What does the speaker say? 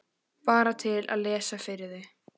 Bara til að lesa fyrir þau.